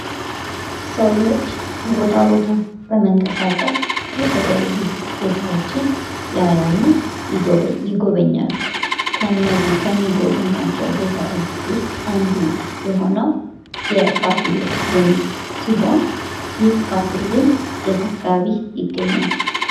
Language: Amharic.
ሰዎች ከቦታ ቦታ ለመንቀሳቀስ የተለያዩ ቦታዎችን ያያሉ ይጎበኛሉ ከሚጎበኟቸው ቦታዎች ውስጥ አንዱ የሆነው የፋሲል ግንብ ሲሆን ይህ ፋሲል ግንብ የት አካባቢ ይገኛል?